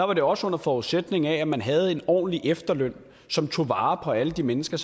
var det også under forudsætning af at man havde en ordentlig efterløn som tog vare på alle de mennesker